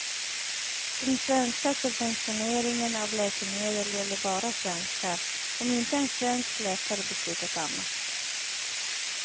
Den svenska subventioneringen av läkemedel gäller bara svenskar, om inte en svensk läkare beslutat annat.